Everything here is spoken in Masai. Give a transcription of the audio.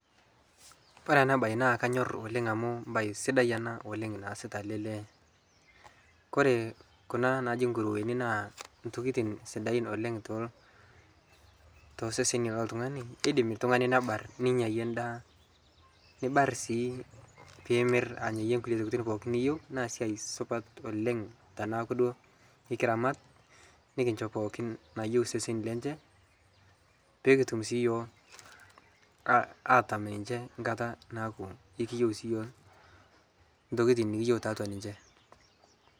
kore anaa bai naa kanyor oleng amu mbai sidai anaa oleng naasita alee lee kore kuna najii nkuruweni naa ntokitin sidain oleng toseseni loltunganii keidim ltungani nebar ninyayie ndaa nibar sii piimir anyayie nkulie tokitii niyeu naa siai supat oleng tanaaku duo ikiramat nikinshoo pookin naayeu seseni lenshee piikitum sii yooh atam ninshe nkataa naaku ikiyeu sii yooh ntokitin nikiyeu taatua ninshee